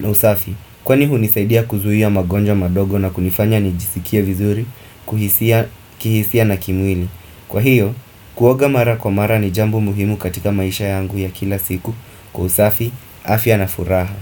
na usafi Kwani hunisaidia kuzuia magonjwa madogo na kunifanya nijisikie vizuri, kuhisia kihisia na kimwili Kwa hiyo, kuoga mara kwa mara ni jambo muhimu katika maisha yangu ya kila siku Kwa usafi, afya na furaha.